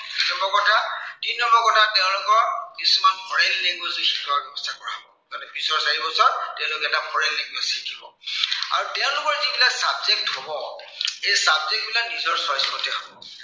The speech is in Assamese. তিন নম্বৰ কথা তেওঁলোকক কিছুমান foreign language শিকোৱাৰ ব্য়ৱস্থা কৰা হ'ব। পিছৰ চাৰিবছৰ তেওঁলোকে এটা foreign language শিকিব। আৰু তেওঁলোকৰ যিবিলাক subject হ'ব, সেই subject বিলাক নিজৰ choice মতে হ'ব।